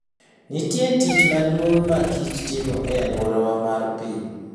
Nitie tich maduong' makich timo e alwora mar piny.